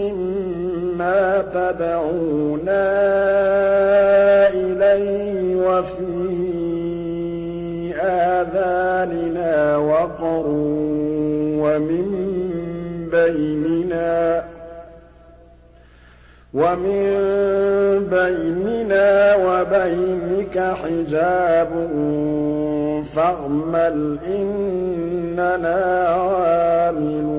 مِّمَّا تَدْعُونَا إِلَيْهِ وَفِي آذَانِنَا وَقْرٌ وَمِن بَيْنِنَا وَبَيْنِكَ حِجَابٌ فَاعْمَلْ إِنَّنَا عَامِلُونَ